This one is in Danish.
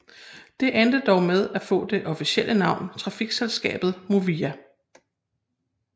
Det endte dog med at få det officielle navn Trafikselskabet Movia